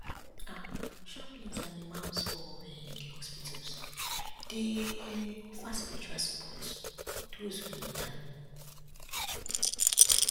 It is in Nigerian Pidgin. ah chaplains and imams for um di hospitals dey um offer spiritual support for doze wey need am